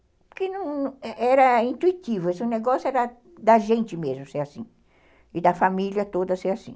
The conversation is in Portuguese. Porque era intuitivo, esse negócio era da gente mesmo ser assim, e da família toda ser assim.